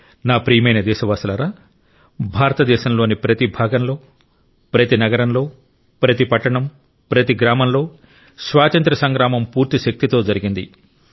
నా ప్రియమైన దేశవాసులారా భారతదేశంలోని ప్రతి భాగంలో ప్రతి నగరంలో ప్రతి పట్టణం ప్రతి గ్రామంలో స్వాతంత్య్ర సంగ్రామం పూర్తి శక్తితో జరిగింది